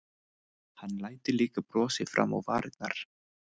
Hann læddi líka brosi fram á varirnar.